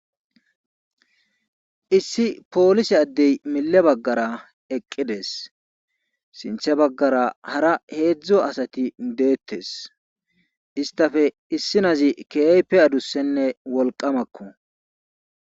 Issi poolise addey mille baggara eqqides sinththe baggara hara heedzdzu asati deettes istape issinazi keehippe adussenne wolqamakko.